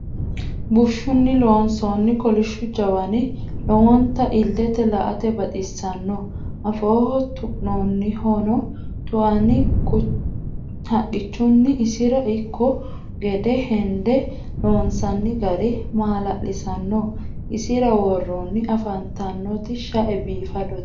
bushunni loonsoonni kolishu jawanni lowonta ilete la'atte baxisanno afooho tu'nonihuno tu'anni haqichunni isira ikanno gedde henide loonsoonni gari mala'lisanno isira woroonni afantanoti shae biifadote.